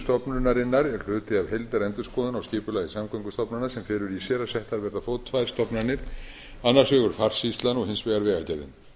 stofnunarinnar er hluti af heildarendurskoðun á skipulagi samgöngustofnana sem felur í sér að settar verði á fót tvær stofnanir annars vegar farsýslan og hins vegar vegagerðin